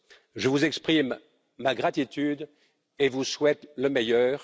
Je vous exprime ma gratitude et vous souhaite le meilleur.